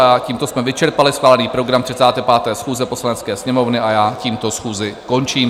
A tímto jsme vyčerpali schválený program 35. schůze Poslanecké sněmovny a já tímto schůzi končím.